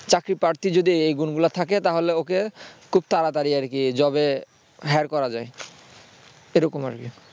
চাকরি প্রার্থীর যদি এই গুণগুলো থাকে তাহলে ওকে খুব তাড়াতাড়ি আর কি job এ hire করা যায় এরকম আরকি